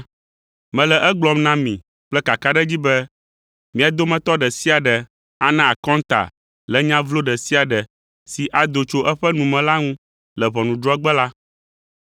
Mele egblɔm na mi kple kakaɖedzi be, mia dometɔ ɖe sia ɖe ana akɔnta le nya vlo ɖe sia ɖe si ado tso eƒe nu me la ŋu le ʋɔnudrɔ̃gbe la,